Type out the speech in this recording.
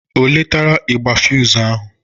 Ọ letara igbe fụzụ ahụ?